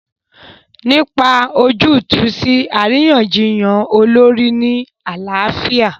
Nípa ojútùú sí àríyànjiyàn olórí ní àlàáfíà.